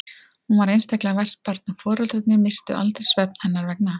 Hún var einstaklega vært barn og foreldrarnir misstu aldrei svefn hennar vegna.